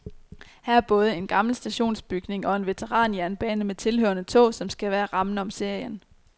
Her er både en gammel stationsbygning og en veteranjernbane med tilhørende tog, som skal være rammen om serien.